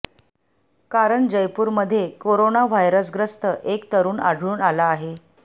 कारण जयपूरमध्ये corona virus ग्रस्त एक तरुण आढळून आला आहे